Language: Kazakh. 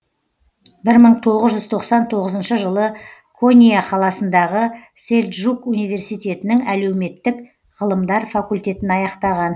бір мың тоғыз жүз тоқсан тоғызыншы жылы конья қаласындағы сельджук университетінің әлеуметтік ғылымдар факультетін аяқтаған